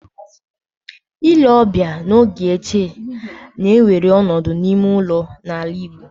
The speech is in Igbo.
Ile ọbịa n'oge ochie na-ewere ọnọdụ n'ime ụlọ n'ala Igbo